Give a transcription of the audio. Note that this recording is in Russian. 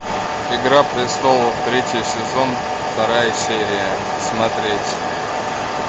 игра престолов третий сезон вторая серия смотреть